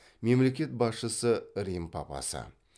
мемлекет басшысы рим папасы